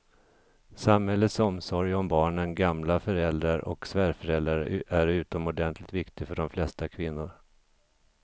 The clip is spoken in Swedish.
Samhällets omsorg om barnen, gamla föräldrar och svärföräldrar är utomordentligt viktig för de flesta kvinnor.